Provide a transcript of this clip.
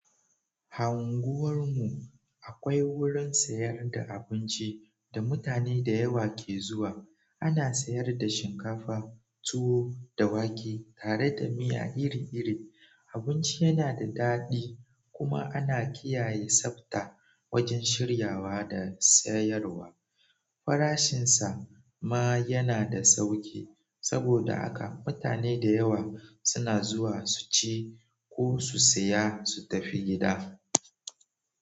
A unguwar mu akwai wurin sayar da abinci da mutane da yawa ke zuwa. Ana sayar da shinkafa, tuwo da wake tare da miya iri-iri. Abinci yana da daɗi kuma ana kiyaye tsabta wajen shiryawa da sayarwa. Farashinsa ma yana da sauki. Saboda haka mutane da yawa suna zuwa su ci ko su saya su tafi gida.